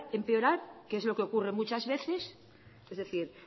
empeorar que es lo que ocurre muchas veces es decir